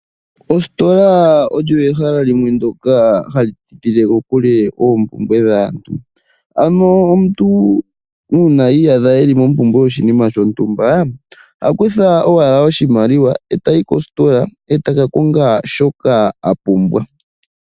Ositola oyo ehala lyoka hali tidhile kokule oompumbwe dhaantu, ano aantu uuna yiiyadha yeli mompumbwe yoshinima shontumba, ohaku tha owala oshimaliwa e tayi koositola , e taka konga shoka a pumbwa.